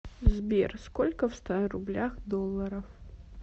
сбер сколько в ста рублях долларов